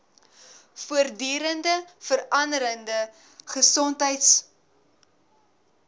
voortdurend veranderende gesondheidsorgbedryf